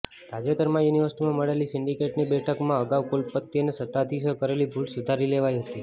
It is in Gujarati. તાજેતરમાં યુનિવર્સિટીમાં મળેલી સિન્ડિકેટની બેઠકમાં અગાઉ કુલપતિ અને સત્તાધીશોએ કરેલી ભૂલ સુધારી લેવાઈ હતી